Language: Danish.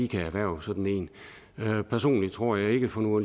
kan erhverve sådan en personligt tror jeg ikke for nu